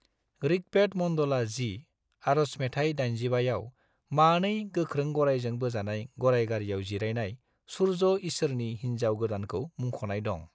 ऋग्वेद मंडला 10, आर'ज मेथाइ 85 आव मानै गोख्रों गराइजों बोजानाय गराइ गारियाव जिरायनाय सूर्य ईसोरनि हिनजाव गोदानखौ मुंख'नाय दं।